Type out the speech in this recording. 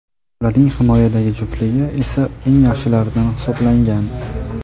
Ularning himoyadagi juftligi esa eng yaxshilardan hisoblangan.